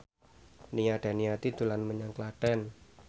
Nia Daniati dolan menyang Klaten